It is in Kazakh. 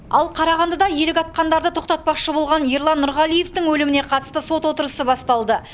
ал қарағандыда елік атқандарды тоқтатпақшы болған ерлан нұрғалиевтің өліміне қатысты сот отырысы басталды